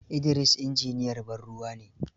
Idris injiniyan bar ruwa ne.